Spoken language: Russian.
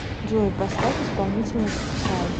джой поставь исполнителя псай